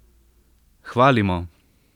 Hvalimo!